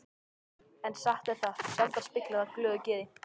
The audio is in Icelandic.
En satt er það, sjaldan spillir það glöðu geði.